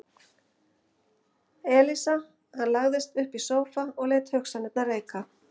Elísa Hann lagðist upp í sófa og lét hugsanirnar reika.